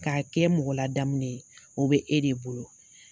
K'a kɛ mɔgɔ ladamune ye o be e de bolo